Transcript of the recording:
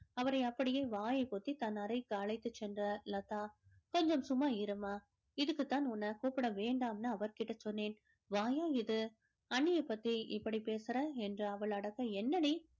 அவரை அப்படியே வாயை பொத்தி தன் அறைக்கு அழைத்து சென்றார் லதா கொஞ்சம் சும்மா இரும்மா இதுக்கு தான் உன்ன கூப்பிட வேண்டாம்னு அவர் கிட்ட சொன்னேன் வாயா இது அண்ணியை பத்தி இப்படி பேசுறா என்று அவள் அடக்க என்னடி